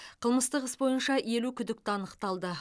қылмыстық іс бойынша елу күдікті анықталды